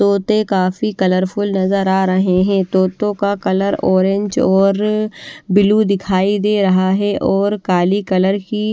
तोते काफी कलरफुल नजर आ रहे है तोतो का कलर ऑरेंज और ब्लू दिखाई दे रहा है और काली कलर की--